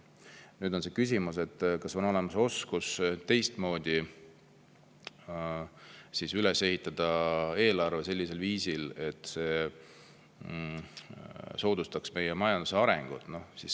Nüüd on küsimus, kas on olemas oskus ehitada eelarve teistmoodi üles, sellisel viisil, et see soodustaks majanduse arengut.